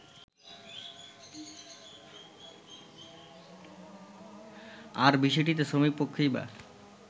আর বিষয়টিতে শ্রমিকপক্ষই বা